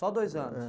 Só dois anos? É.